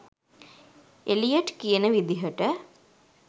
Elliot කියන විදිහට